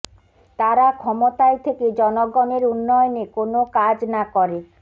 তারা ক্ষমতায় থেকে জনগণের উন্নয়নে কোনো কাজ না করে